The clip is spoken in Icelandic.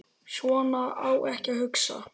Svona á ekki að hugsa.